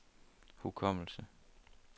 hukommelse